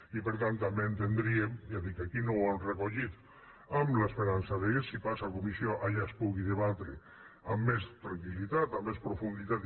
i per tant també entendríem ja dic aquí no ho hem recollit amb l’esperança que si passa a comissió allà es pugui debatre amb més tranquil·litat amb més profunditat